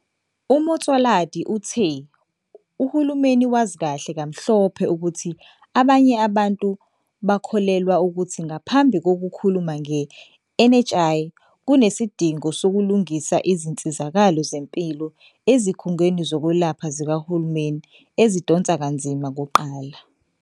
UMotsoaledi uthe uhulumeni wazi kahle kamhlophe ukuthi abanye abantu bakholelwa ukuthi ngaphambi kokukhuluma nge-NHI, kunesidingo sokulungisa izinsizakalo zempilo ezikhungweni zokwelapha zikahulumeni ezidonsa kanzima kuqala.